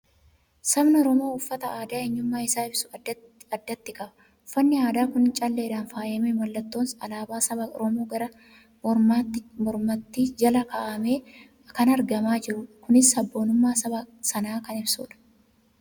Sabni Oromoo uffata aadaa eenyummaa isaa ibsu addatti qaba. Uffanni aadaa kun calleedhaan faayamee, mallattoon alaabaa saba Oromoo gara mormaatti jala kaa'amee kan argamaa jirudha. Kunis sabboonummaa saba sanaa kan ibsudha.